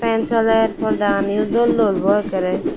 fan soler porda gani o dol dol bu ekaray.